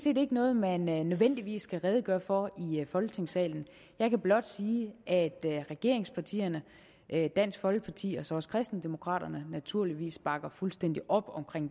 ikke noget man nødvendigvis skal redegøre for i folketingssalen jeg kan blot sige at regeringspartierne dansk folkeparti og så også kristendemokraterne naturligvis bakker fuldstændig op om